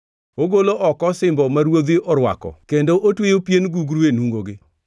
Ogolo oko osimbo ma ruodhi orwako kendo otweyo pien gugru e nungogi.